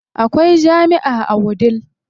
Akwai jami'a a Wudil.